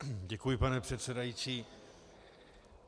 Děkuji, pane předsedající.